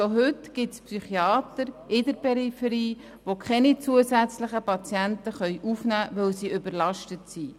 Schon heute gibt es in der Peripherie Psychiater, die keine zusätzlichen Patienten aufnehmen können, da sie überlastet sind.